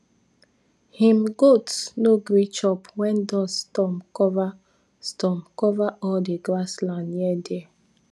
him goats no gree chop when dust storm cover storm cover all the grass land near there